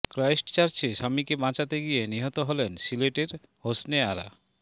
ক্রাইস্টচার্চে স্বামীকে বাঁচাতে গিয়ে নিহত হলেন সিলেটের হোসনে আরা